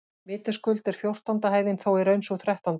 Vitaskuld er fjórtánda hæðin þó í raun sú þrettánda.